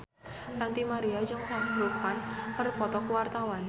Ranty Maria jeung Shah Rukh Khan keur dipoto ku wartawan